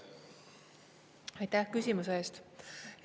Aitäh küsimuse eest!